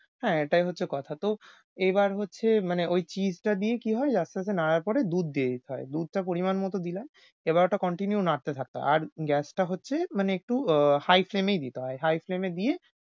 হ্যাঁ এটাই হচ্ছে কথা। তো এবার হচ্ছে মানে ঐ cheese টা দিয়ে কী হয় যে আস্তে আস্তে নাড়ার পরে দুধ দিয়ে দিতে হয়। দুধটা পরিমাণমত দিলাম এবার ওটা continue নাড়তে থাকো। আর উম gas টা হচ্ছে মানে একটু আহ high flame এই দিতে হয়। high flame এ দিয়ে